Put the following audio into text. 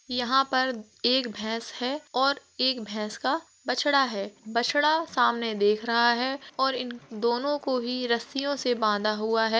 यहाँ पर एक भैस है और एक भैस का बछड़ा है बछड़ा सामने देख रहा है और इन दोनों को ही रस्सियों से बाँधा हुआ है।